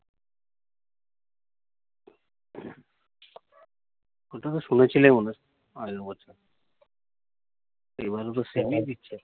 কথাটা শুনেছিলে মনে হয়, আগের বছর। এইবারও তো same ই দিচ্ছে।